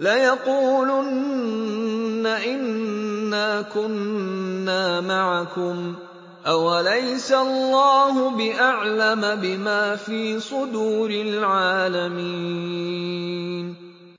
لَيَقُولُنَّ إِنَّا كُنَّا مَعَكُمْ ۚ أَوَلَيْسَ اللَّهُ بِأَعْلَمَ بِمَا فِي صُدُورِ الْعَالَمِينَ